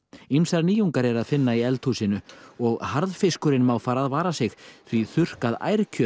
ýmsar nýjungar er að finna í eldhúsinu og harðfiskurinn má fara að vara sig því þurrkað